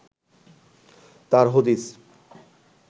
তার হদিস